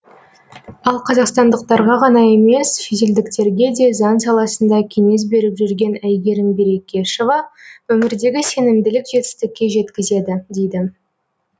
ал қазақстандықтарға ғана емес шетелдіктерге де заң саласында кеңес беріп жүрген әйгерім берекешова өмірдегі сенімділік жетістікке жеткізеді дейді